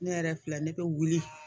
Ne yɛrɛ filɛ ne bɛ wuli